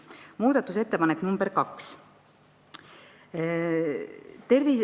Muudatusettepanek nr 2.